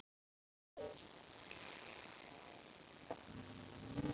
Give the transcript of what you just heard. Þá var kaldi í hafinu.